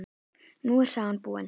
Nú er sagan búin.